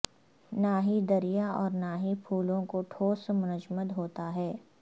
نہ ہی دریا اور نہ ہی پھولوں کو ٹھوس منجمد ہوتا ہے